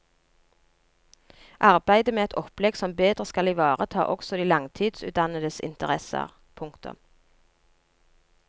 Arbeidet med et opplegg som bedre skal ivareta også de langtidsutdannedes interesser. punktum